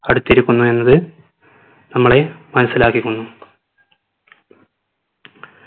അടുത്തിരിക്കുന്നു എന്നത് നമ്മളെ മനസിലാക്കിക്കുന്നു